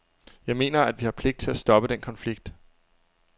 Jeg mener, at vi har pligt til at stoppe den konflikt.